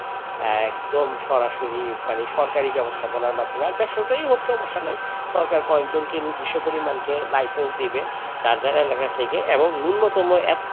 আহ একদম সরাসরি মানে সরকারি ব্যবস্থা কলার মাধ্যমে বেসরকারি সমস্যা নাই রকার কয়েকজন কে নিয়ে নির্দিষ্ট পরিমাণকে লাইসেন্স দিবে টাকা টা লাগাতে থেকে এবং ন্যূনতম এক,